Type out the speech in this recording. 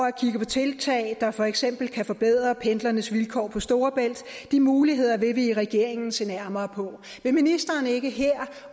at kigge på tiltag der for eksempel kan forbedre pendlernes vilkår på storebælt de muligheder vil vi i regeringen se nærmere på vil ministeren ikke her